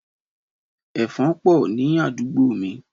Ẹ̀fan pọ̀ ni àdúgbò mí.